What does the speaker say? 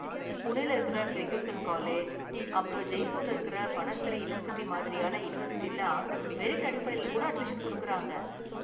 புனேல இருக்கற Fergusson college, அப்பறம் ஜெய்ப்பூர்ல இருக்கற பனஸ்தலி யூனிவர்சிட்டி மாதிரியான யூனிவர்சிட்டிலாம் மெரிட் அடிப்படையில கூட அட்மிஷன் கொடுக்கறாங்க.